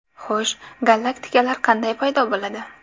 Xo‘sh, galaktikalar qanday paydo bo‘ladi?